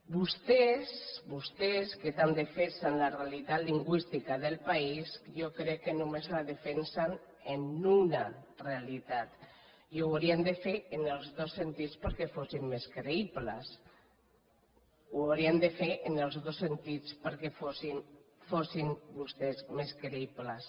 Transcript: vostès vostès que tant defensen la realitat lingüística del país jo crec que només la defensen en una realitat i haurien de fer ho en els dos sentits perquè fossin més creïbles ho haurien de fer en els dos sentits perquè fossin vostès més creïbles